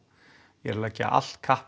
ég er að leggja allt kapp